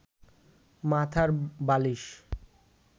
মাথার বালিশ